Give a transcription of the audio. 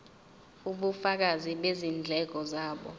ubufakazi bezindleko zabo